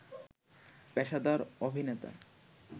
পেশাদার অভিনেতা